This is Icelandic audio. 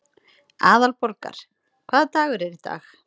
Aðalborgar, hvaða dagur er í dag?